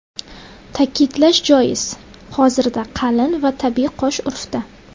Ta’kidlash joiz, hozirda qalin va tabiiy qosh urfda.